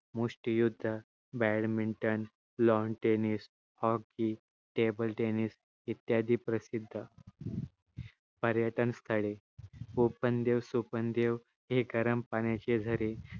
मुष्ठी युद्ध badminton, lawn tennis, hockey, table tennis इत्यादी प्रसिद्ध पर्यटनस्थळे ओपण देव सोपण देव हे गरम पाण्याचे झरे